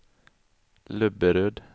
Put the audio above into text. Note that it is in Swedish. Löberöd